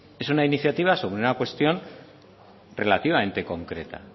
es una iniciativa sobre una cuestión relativamente concreta